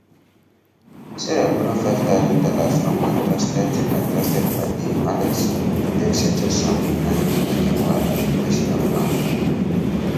sarah borrow five thousand dollars from her trusted her trusted padi alex to take settle some kind wedding wahala wey she no plan for